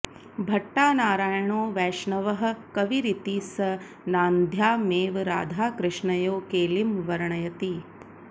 भट्टानारायणो वैष्णवः कविरिति स नान्द्यामेव राधाकृष्णयोः केलिं वर्णयति